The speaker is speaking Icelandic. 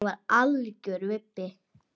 Hann er algjör vibbi.